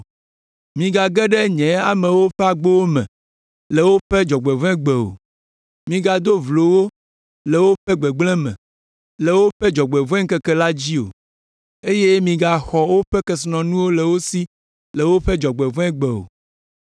Migage ɖe nye amewo ƒe agbowo me le woƒe dzɔgbevɔ̃egbe o, migado vlo wo le woƒe gbegblẽ me, le woƒe dzɔgbevɔ̃eŋkeke la dzi o eye migaxɔ woƒe kesinɔnuwo le wo si le woƒe dzɔgbevɔ̃egbe o.